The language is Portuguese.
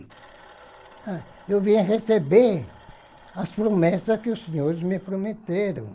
Ai eu vim receber as promessas que os senhores me prometeram.